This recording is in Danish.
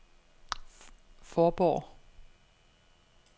Fårborg